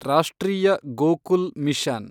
ರಾಷ್ಟ್ರೀಯ ಗೋಕುಲ್ ಮಿಷನ್